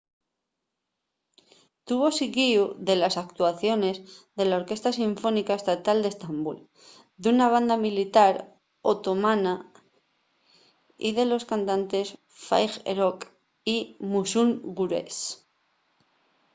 tuvo siguíu de les actuaciones de la orquesta sinfónica estatal d’estambul d’una banda militar otomana y de los cantantes fatih erkoç y müslüm gürses